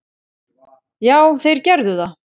Já, þeir gerðu það.